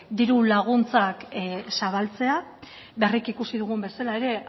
diru laguntzak zabaltzea berriki ikusi dugun bezala ere